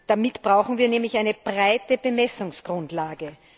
Damit brauchen wir nämlich eine breite Bemessungsgrundlage.